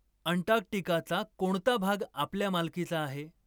अंटार्क्टिकाचा कोणता भाग आपल्या मालकीचा आहे